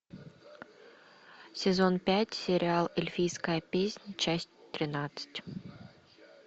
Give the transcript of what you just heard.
сезон пять сериал эльфийская песнь часть тринадцать